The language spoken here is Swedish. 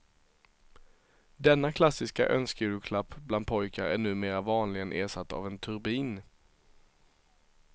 Denna klassiska önskejulklapp bland pojkar är numera vanligen ersatt av en turbin.